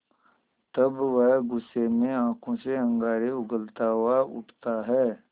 तब वह गुस्से में आँखों से अंगारे उगलता हुआ उठता है